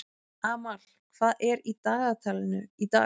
Amal, hvað er í dagatalinu í dag?